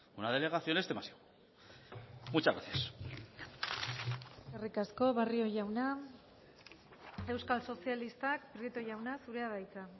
una delegación es demasiado muchas gracias eskerrik asko barrio jauna euskal sozialistak prieto jauna zurea da hitza